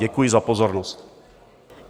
Děkuji za pozornost.